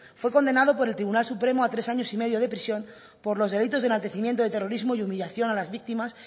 fue condenado por el tribunal supremo a tres años y medio de prisión por los delitos de enaltecimiento de terrorismo y humillación a las víctimas